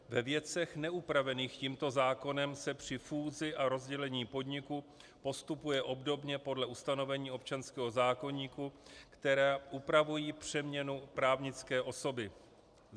Ve věcech neupravených tímto zákonem se při fúzi a rozdělení podniku postupuje obdobně podle ustanovení občanského zákoníku, která upravují přeměnu právnické osoby."